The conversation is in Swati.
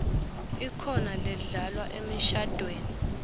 ikhona ledlalwa emishadvweni